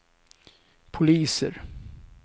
poliser